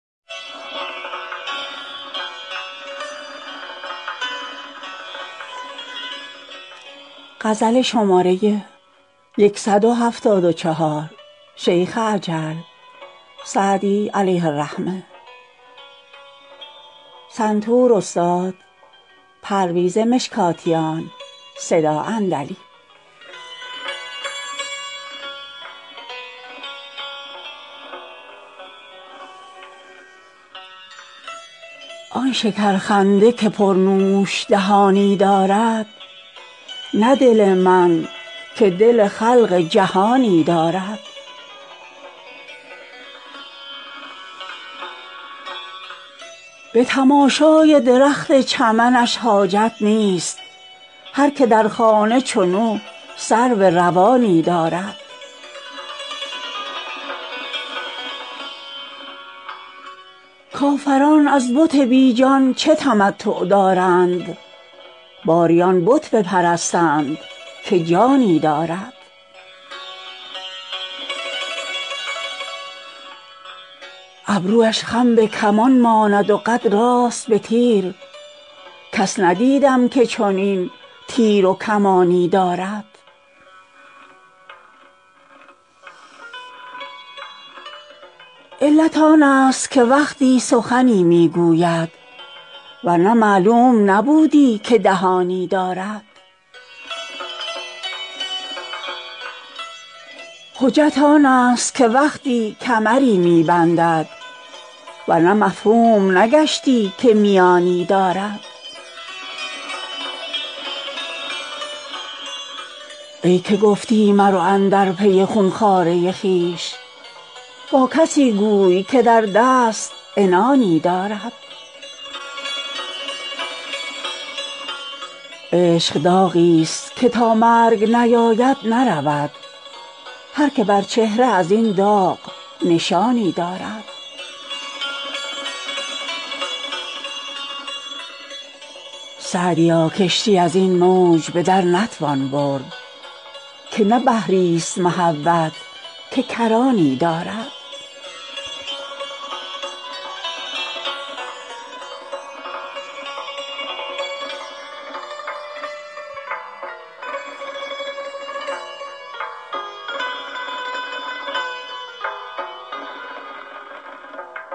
آن شکرخنده که پرنوش دهانی دارد نه دل من که دل خلق جهانی دارد به تماشای درخت چمنش حاجت نیست هر که در خانه چنو سرو روانی دارد کافران از بت بی جان چه تمتع دارند باری آن بت بپرستند که جانی دارد ابرویش خم به کمان ماند و قد راست به تیر کس ندیدم که چنین تیر و کمانی دارد علت آنست که وقتی سخنی می گوید ور نه معلوم نبودی که دهانی دارد حجت آنست که وقتی کمری می بندد ور نه مفهوم نگشتی که میانی دارد ای که گفتی مرو اندر پی خون خواره خویش با کسی گوی که در دست عنانی دارد عشق داغیست که تا مرگ نیاید نرود هر که بر چهره از این داغ نشانی دارد سعدیا کشتی از این موج به در نتوان برد که نه بحریست محبت که کرانی دارد